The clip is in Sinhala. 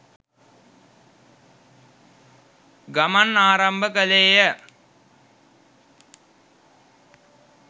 ගමන් ආරම්භ කළේය